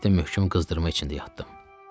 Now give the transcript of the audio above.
Üç həftə möhkəm qızdırma içində yatdım.